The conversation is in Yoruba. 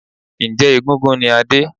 Njẹ́ egúngún ni Adé?